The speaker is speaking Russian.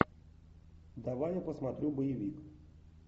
давай я посмотрю боевик